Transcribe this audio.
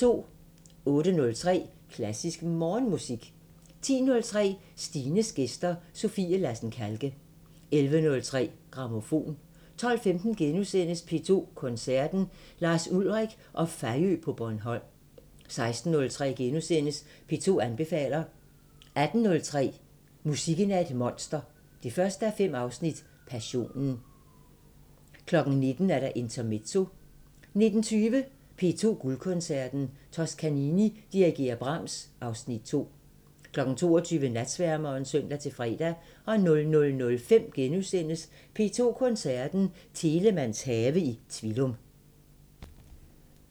08:03: Klassisk Morgenmusik 10:03: Stines gæster – Sofie Lassen Kahlke 11:03: Grammofon 12:15: P2 Koncerten – Lars Ulrik og Fejø på Bornholm * 16:03: P2 anbefaler * 18:03: Musikken er et monster 1:5 – Passionen 19:00: Intermezzo 19:20: P2 Guldkoncerten – Toscanini dirigerer Brahms (Afs. 2) 22:00: Natsværmeren (søn-fre) 00:05: P2 Koncerten – Telemanns have i Tvilum *